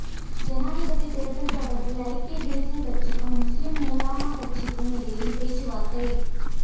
ஜனாதிபதித் தேர்தல் தொடர்பில் ஐக்கிய தேசியக் கட்சிக்கும் முஸ்லிம் உலமா கட்சிக்குமிடையில் பேச்சுவார்த்தை